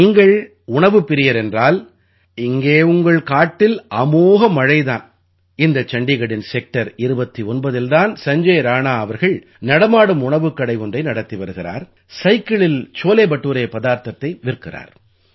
நீங்கள் உணவுப் பிரியர் என்றால் இங்கே உங்கள் காட்டில் அமோக மழை தான் இந்த சண்டீகடின் செக்டர் 29இல் தான் சஞ்ஜய் ராணா அவர்கள் நடமாடும் உணவுக் கடை ஒன்றை நடத்தி வருகிறார் சைக்கிளில் சோலே படூரே பதார்த்தத்தை விற்கிறார்